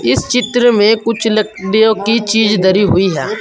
इस चित्र में कुछ लकड़ियों की चीज धरी हुई है।